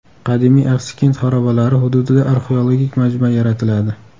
Qadimiy Axsikent xarobalari hududida arxeologik majmua yaratiladi.